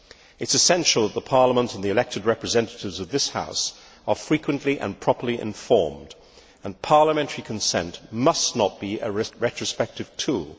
It is essential that Parliament and the elected representatives of this House are frequently and properly informed, and parliamentary consent must not be a retrospective tool.